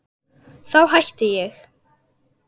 Þá hætti ég!